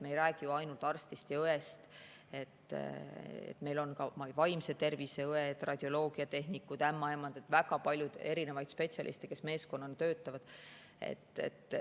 Me ei räägi ju ainult arstidest ja õdedest, meil on ka vaimse tervise õed, radioloogiatehnikud, ämmaemandad – väga palju erinevaid spetsialiste, kes meeskonnana töötavad.